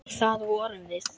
Og það vorum við.